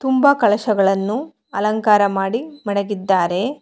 ಕುಂಭ ಕಳಸಗಳನ್ನು ಅಲಂಕಾರ ಮಾಡಿ ಮಡಗಿದ್ದಾರೆ.